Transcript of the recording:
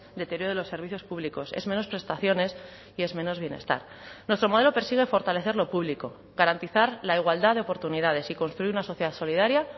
deterioro de los servicios públicos es menos prestaciones y es menos bienestar nuestro modelo persigue fortalecer lo público garantizar la igualdad de oportunidades y construir una sociedad solidaria